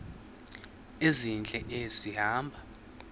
ezintle esi hamba